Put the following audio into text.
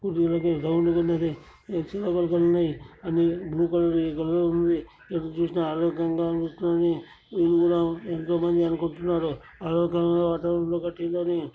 చూడ్డానికి రౌండ్ గా ఉన్నదీ చిన్న బుల్బులున్నాయి. అన్ని బ్లూ కలర్ లో . ఎటు చుసిన ఆరోగ్యాంగా అనిపిస్తూ ఉంది నేను కూడా ఎంతోమంది అనుకుంటున్నారు ఆరోగ్యమయిన వాతావరణంలో కట్టారని.